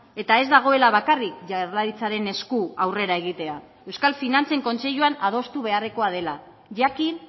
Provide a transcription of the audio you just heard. eta ez dagoela bakarrik jaurlaritzaren esku aurrera egitea euskal finantzen kontseiluan adostu beharrekoa dela jakin